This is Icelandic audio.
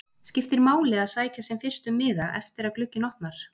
Skiptir máli að sækja sem fyrst um miða eftir að glugginn opnar?